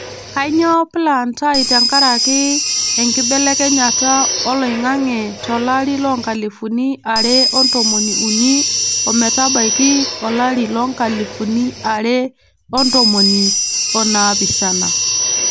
Kainyioo plaanaatai tenkaraki enkibelekenyata oloing'ang'e to lari loonkalifuni are otomon ookuni metabaiki olari loonkalifuni are otomon onaapishana.